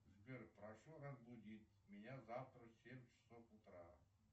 сбер прошу разбудить меня завтра в семь часов утра